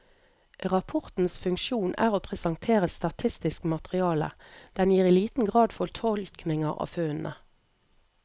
Rapportens funksjon er å presentere statistisk materiale, den gir i liten grad fortolkninger av funnene.